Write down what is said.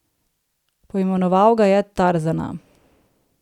Poimenoval ga je Tarzana.